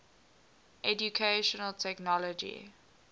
educational technology